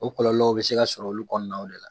O kɔlɔlɔw bɛ se ka sɔrɔ olu kɔɔnaw de la.